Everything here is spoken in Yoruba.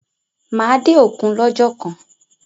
Máa dé òkun lọ́jọ́ kan.